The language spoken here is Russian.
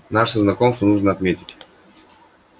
наше знакомство нужно отметить